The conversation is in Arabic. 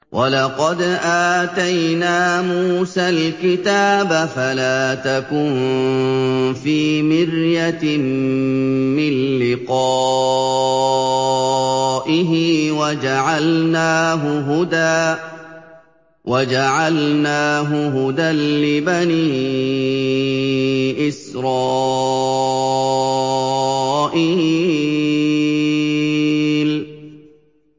وَلَقَدْ آتَيْنَا مُوسَى الْكِتَابَ فَلَا تَكُن فِي مِرْيَةٍ مِّن لِّقَائِهِ ۖ وَجَعَلْنَاهُ هُدًى لِّبَنِي إِسْرَائِيلَ